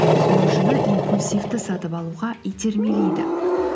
тұтынушыны импульсивті сатып алуға итермелейді